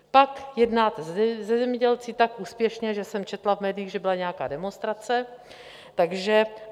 Pak jednáte se zemědělci tak úspěšně, že jsem četla v médiích, že byla nějaká demonstrace.